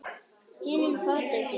Hinum fátæku.